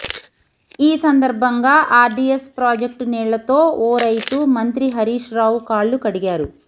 ఈ సందర్భంగా RDS project నీళ్లతో ఓ రైతు మంత్రి హరీష్ రావు కాళ్లు కడిగారు